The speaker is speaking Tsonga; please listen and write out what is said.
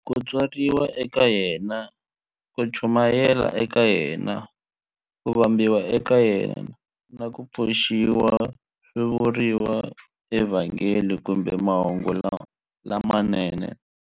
Ku tswariwa ka yena, ku chumayela ka yena, ku vambiwa ka yena, na ku pfuxiwa swi vuriwa eVhangeli kumbe"Mahungu lamanene".